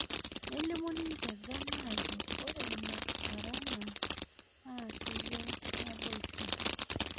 Nelimu ninje ghana aajo ore ina arana naa keyau naboisho